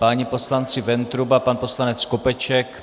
Páni poslanci Ventruba, pan poslanec Skopeček.